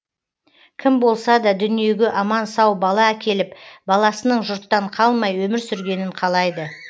кім болса да дүниеге аман сау бала әкеліп баласының жұрттан қалмай өмір сүргенін қалайды